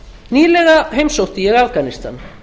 nýlega heimsótti ég afganistan